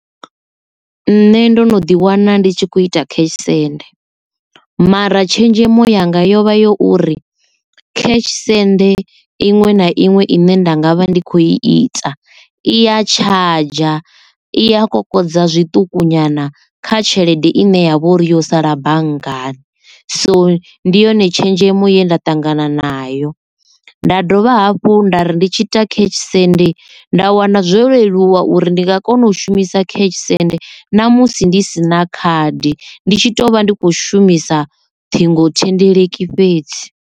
Nṋe ndo no ḓi wana ndi tshi kho ita cash send, mara tshenzhemo yanga yovha yo vha yo uri cash send iṅwe na iṅwe ine nda nga vha ndi khou i ita iya charger i a kokodza zwiṱuku nyana kha tshelede i ne ya vha uri yo sala banngani so ndi yone tshenzhemo ye nda ṱangana nayo. Nda dovha hafhu nda ri ndi tshi ita cash send nda wana zwo leluwa uri ndi nga kona u shumisa cash send namusi ndi sina khadi ndi tshi to vha ndi kho shumisa ṱhingo thendeleki fhedzi.